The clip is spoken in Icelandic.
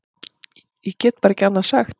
Ég get bara ekki annað sagt.